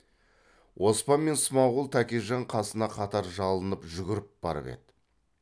оспан мен смағұл тәкежан қасына қатар жалынып жүгіріп барып еді